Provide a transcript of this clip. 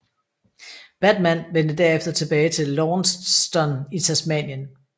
Batman vendte derefter tilbage til Launceston i Tasmanien